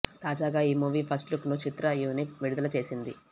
తాజాగా ఈ movie first look ను చిత్ర యూనిట్ విడుదల చేసింది